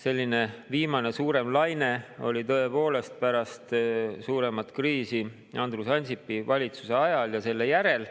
Viimane selline suurem laine oli tõepoolest pärast suuremat kriisi, Andrus Ansipi valitsuse ajal ja selle järel.